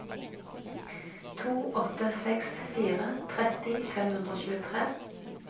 to åtte seks fire tretti fem hundre og tjuetre